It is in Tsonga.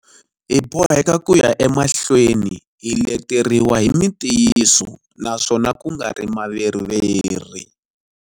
Hi boheka ku ya emahlweni hi leteriwa hi mitiyiso naswona ku nga ri maveriveri.